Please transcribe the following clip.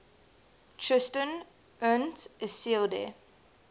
tristan und isolde